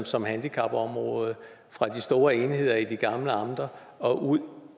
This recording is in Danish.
som handicapområdet fra de store enheder i de gamle amter og ud